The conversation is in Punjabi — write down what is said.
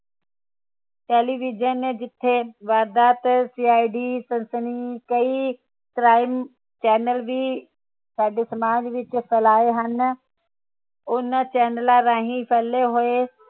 television ਨੇ ਜਿਥੇ ਵਾਰਦਾਤ CID ਸਨਸਨੀ ਕਈ crime channel ਵੀ ਸਾਡੇ ਸਮਾਜ ਵਿਚ ਫੈਲਾਏ ਹਨ ਉਨ੍ਹਾਂ ਚੇਂਨਲਾ ਰਾਹੀਂ ਫੈਲੇ ਹੋਏ